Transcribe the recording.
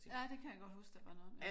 Ja det kan jeg godt huske der var noget om